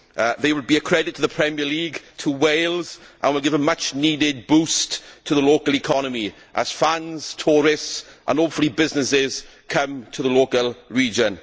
They will be a credit to the Premier League, to Wales, and will give a much needed boost to the local economy, as fans, tourists and, hopefully, businesses come to the region.